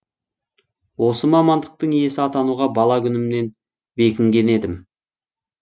осы мамандықтың иесі атануға бала күнімнен бекінген едім